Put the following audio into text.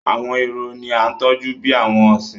Àwọn ehoro ní a tọjú bí àwọn ọsin.